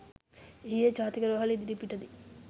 ඊයේජාතික රෝහල ඉදිරිපිට දී